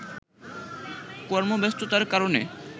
কর্মব্যস্ততার কারণে